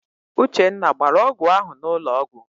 Uchenna gbara ọgwụ ahụ n'ụlọ ọgwụ.